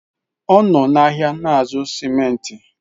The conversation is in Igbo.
Ọ nọ n'ahịa na-azụ simenti.